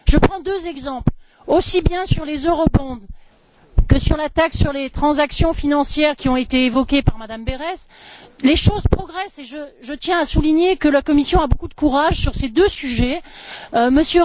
Je prends deux exemples aussi bien sur les eurobonds que sur la taxe sur les transactions financières, qui ont été évoqués par Mme Berès, les choses progressent, et je tiens à souligner que la Commission a beaucoup de courage sur ces deux sujets, M.